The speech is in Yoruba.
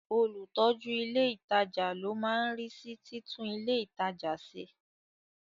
Olùtọ́jú ilé ìtajà ló máa ń rí sí títún ilé ìtajà ṣe.